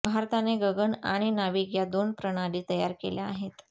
भारताने गगन आणि नाविक या दोन प्रणाली तयार केल्या आहेत